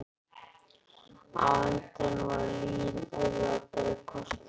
Á endanum var lygin auðveldari kosturinn.